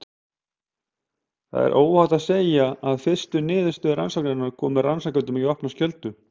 Það er óhætt að segja að fyrstu niðurstöður rannsóknarinnar komu rannsakendum í opna skjöldu.